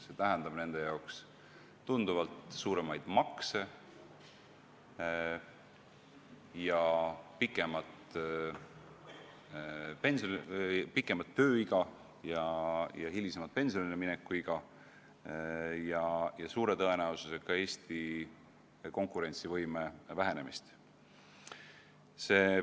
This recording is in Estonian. See tähendab nende jaoks tunduvalt suuremaid makse ja pikemat tööelu, kõrgemat pensionilemineku iga ja suure tõenäosusega ka Eesti konkurentsivõime vähenemist.